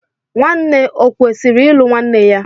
Nwanne o kwụsịrị ịlụ nwanne ya?